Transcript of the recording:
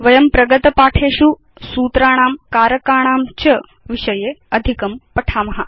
वयं प्रगत पाठेषु सूत्राणां कारकाणां च विषये अधिकं पठिष्याम